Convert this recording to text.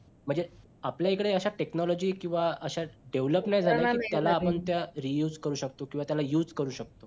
म्हणजे आपल्या एकडे अश्या technology किंवा अश्या development त्याला आपण त्या reuse करू शकतो किंवा त्याला use करू शकतो